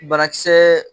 Banakisɛ